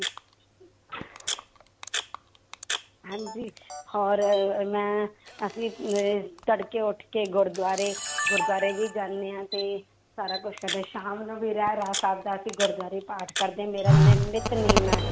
ਹਾਂਜੀ ਹੋਰ ਮੈਂ ਅਸੀਂ ਅਹ ਤੜਕੇ ਉੱਠਕੇ ਗੁਰਦੁਆਰੇ ਗੁਰਦੁਆਰੇ ਵੀ ਜਾਂਦੇ ਹਾਂ ਤੇ ਸਾਰਾ ਕੁਛ ਸ਼ਾਮ ਨੂੰ ਵੀ ਰਹਿਰਾਸ ਸਾਹਿਬ ਦਾ ਅਸੀਂ ਗੁਰਦਆਰੇ ਪਾਠ ਕਰਦੇ, ਮੇਰਾ ਨਿ~ ਨਿਤਨੇਮ ਹੈ।